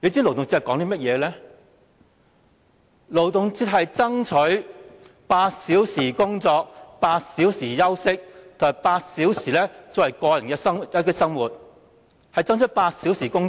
勞動節的目的是爭取8小時工作、8小時休息及8小時個人生活，是爭取8小時工作。